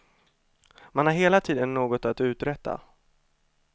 Man har hela tiden något att uträtta.